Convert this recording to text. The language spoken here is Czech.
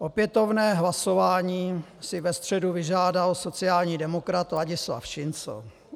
Opětovné hlasování si ve středu vyžádal sociální demokrat Ladislav Šincl.